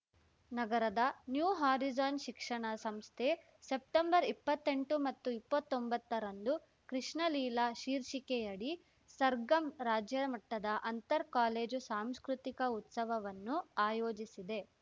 ನಗರದ new horizon ಶಿಕ್ಷಣ ಸಂಸ್ಥೆ ಸೆಪ್ಟೆಂಬರ್ಇಪ್ಪತ್ತೆಂಟು ಮತ್ತು ಇಪ್ಪತೊಂಬತ್ತರಂದು ಕೃಷ್ಣಲೀಲಾ ಶೀರ್ಷಿಕೆಯಡಿ ಸರ್‌ಗಮ್‌ ರಾಜ್ಯಮಟ್ಟದ ಅಂತರ್ ಕಾಲೇಜು ಸಾಂಸ್ಕೃತಿಕ ಉತ್ಸವವನ್ನು ಆಯೋಜಿಸಿದೆ